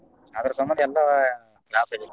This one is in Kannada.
ಅದರ ಸಮಂದ ಎಲ್ಲಾ loss ಆಗೇತಿ.